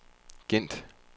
Gent